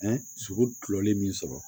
sogo kuloli min sɔrɔ